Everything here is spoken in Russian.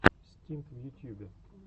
стинт в ютьюбе